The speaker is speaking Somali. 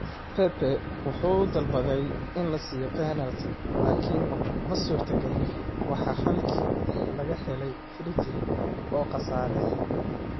Pepe wuxuu dalbaday in la siiyo penalti, laakiin ma suurtagelin, waxaana halkii ka helay free-kick oo qasaaray.